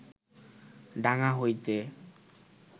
ডাঙ্গা হইতে